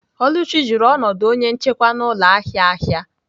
Oluchi jụrụ ọnọdụ onye njikwa n'ụlọ ahịa ahịa.